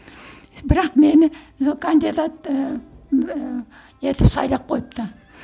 бірақ мені кандидат ыыы етіп сайлап қойыпты